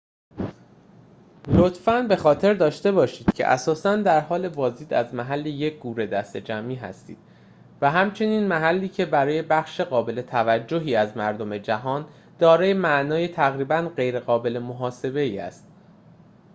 لطفاً به خاطر داشته باشید که اساساً در حال بازدید از محل یک گور دسته‌جمعی هستید و همچنین محلی که برای بخش قابل توجهی از مردم جهان دارای معنای تقریباً غیرقابل محاسبه ای است